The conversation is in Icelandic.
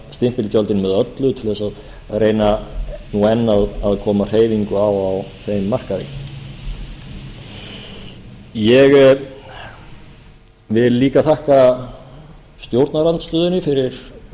stimpilgjöldin með öllu til að reyna enn að koma hreyfingu á á þeim markaði ég vil líka þakka stjórnarandstöðunni fyrir